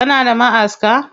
Kana da ma'aska?